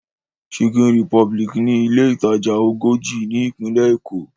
Chicken republic ni ilé ìtajà ogójì ni Ìpínlẹ̀ Èkó